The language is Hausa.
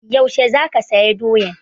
Yaushe za ka saya doyan?